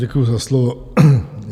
Děkuji za slovo.